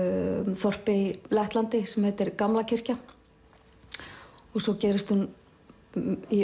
þorpi í Lettlandi sem heitir Gamla kirkja og svo gerist hún í